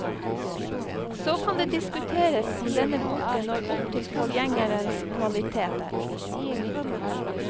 Så kan det diskuteres om denne boken når opp til forgjengerens kvaliteter.